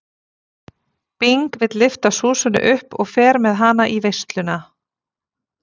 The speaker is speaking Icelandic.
Bing vill lyfta Súsönnu upp og fer með hana í veisluna.